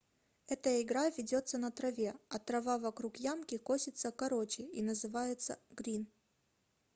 эта игра ведётся на траве а трава вокруг ямки косится короче и называется грин